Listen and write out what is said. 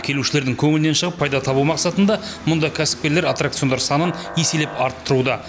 келушілердің көңілінен шығып пайда табу мақсатында мында кәсіпкерлер аттракциондар санын еселеп арттыруда